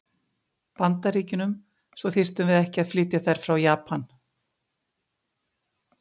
Bandaríkjunum, svo að við þyrftum ekki að flytja þær inn frá Japan.